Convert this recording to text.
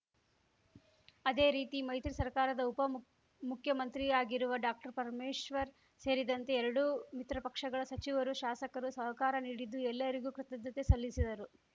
ಅದೇ ರೀತಿ ಮೈತ್ರಿ ಸರ್ಕಾರದ ಉಪ ಮುಖ್ ಮುಖ್ಯಮಂತ್ರಿಯಾಗಿರುವ ಡಾಕ್ಟರ್ಪರಮೇಶ್ವರ್‌ ಸೇರಿದಂತೆ ಎರಡೂ ಮಿತ್ರಪಕ್ಷಗಳ ಸಚಿವರು ಶಾಸಕರು ಸಹಕಾರ ನೀಡಿದ್ದು ಎಲ್ಲರಿಗೂ ಕೃತಜ್ಞತೆ ಸಲ್ಲಿಸಿದರು